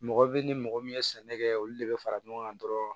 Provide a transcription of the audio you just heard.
Mɔgɔ bɛ ni mɔgɔ min ye sɛnɛ kɛ olu de bɛ fara ɲɔgɔn kan dɔrɔn